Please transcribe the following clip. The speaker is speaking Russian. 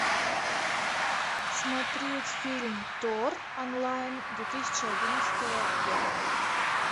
смотреть фильм тор онлайн две тысячи одиннадцатого года